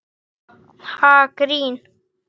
Ha, grín?